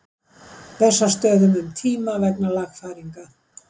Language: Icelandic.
Bessastöðum um tíma vegna lagfæringa.